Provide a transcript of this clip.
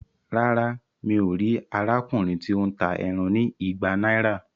Rárá, mí o ríi arákùnrin ti o n tá ẹran ní ìgbà náírà